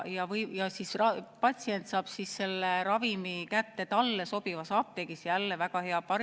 Patsient saab selle ravimi kätte talle sobivas apteegis – jälle väga hea!